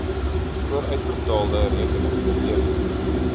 vooruitbetaalde rekening beteken